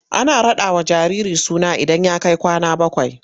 Ana raɗawa jariri suna idan ya kai kwana bakwai.